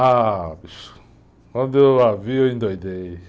Ah, bicho, quando eu a vi, eu endoidei.